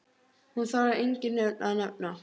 Hún þarf engin nöfn að nefna.